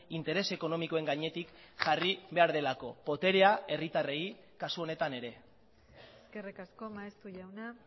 interes ekonomikoen gainetik jarri behar delako boterea herritarrei kasu honetan ere eskerrik asko maeztu jauna